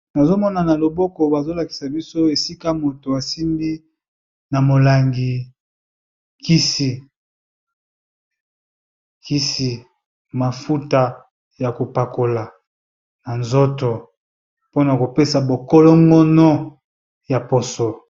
Nazomona na loboko bazolakisa biso esika moto asimbi na molangi kisi mafuta ya kopakola na nzoto mpona kopesa bokolo ngono ya poso.